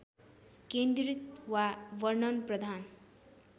केन्द्रित वा वर्णनप्रधान